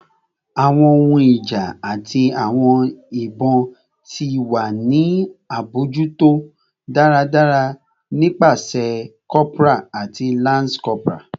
Awọn ohun ija ati awọn ibon ti wa ni abojuto daradara nipasẹ corporal ati lance corporal